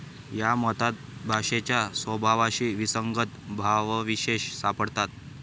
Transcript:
या मतात भाषेच्या स्वभावाशी विसंगत भावविशेष सापडतात.